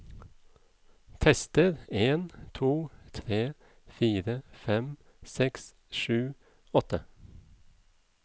Tester en to tre fire fem seks sju åtte